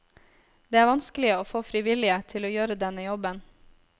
Det er vanskelig å få frivillige til å gjøre denne jobben.